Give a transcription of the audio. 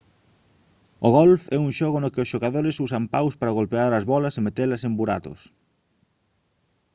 o golf é un xogo no que os xogadores usan paus para golpear as bólas e metelas en buratos